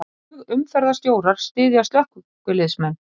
Flugumferðarstjórar styðja slökkviliðsmenn